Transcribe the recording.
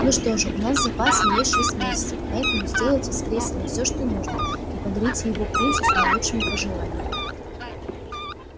ну что же у нас в запасе ещё шесть месяцев поэтому сделайте с крейсером все что нужно и подарите его принцу с наилучшими пожеланиями